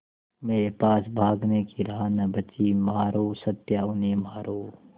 मेरे पास भागने की राह न बची मारो सत्या उन्हें मारो